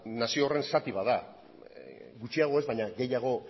nazio horren zati bat da gutxiago ez baino gehiago